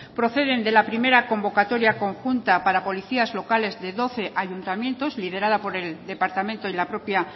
proceden de la primera convocatoria conjunta para policías locales de doce ayuntamientos liderada por el departamento y la propia